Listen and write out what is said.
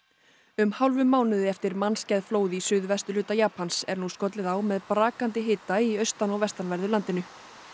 um hálfum mánuði eftir mannskæð flóð í suðvesturhluta Japans er nú skollið á með brakandi hita í austan og vestanverðu landinu